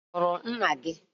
I hụrụ nna gị?